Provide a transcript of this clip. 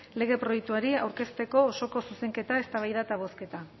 lege proiektuari aurkeztutako osoko zuzenketa eztabaida eta botazioa